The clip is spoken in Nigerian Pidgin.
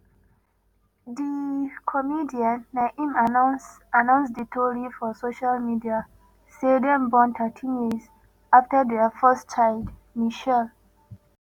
di comedian na im announce announce di tori for social media say dem born thirteen years afta dia first child michelle.